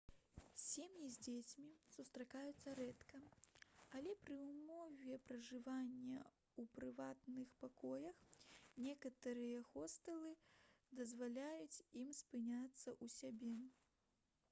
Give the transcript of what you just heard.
сем'і з дзецьмі сустракаюцца рэдка але пры ўмове пражывання ў прыватных пакоях некаторыя хостэлы дазваляюць ім спыняцца ў сябе